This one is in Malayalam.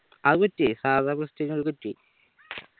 അത് സാധാ അത്